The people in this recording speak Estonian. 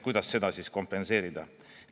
Kuidas seda siis kompenseerida?